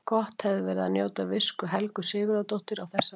Gott hefði verið að njóta visku Helgu Sigurðardóttur á þessari stundu.